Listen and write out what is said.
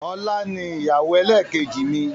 Ọlá ni ìyàwó ẹlẹ́kẹ́jì mi.